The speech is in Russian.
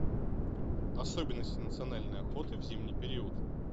особенности национальной охоты в зимний период